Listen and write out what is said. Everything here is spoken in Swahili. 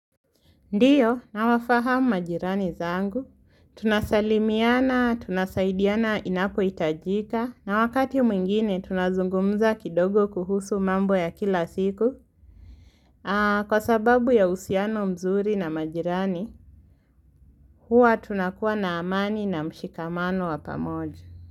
Ndiyo, nawafahamu majirani zangu. Tunasalimiana, tunasaidiana inapo hitajika, na wakati mwingine tunazungumza kidogo kuhusu mambo ya kila siku. Kwa sababu ya uhusiano mzuri na majirani, huwa tunakuwa na amani na mshikamano wapamoja.